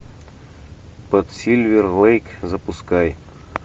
под сильвер лэйк запускай